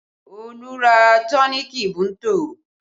Olu ra tọ́nììkì Bunto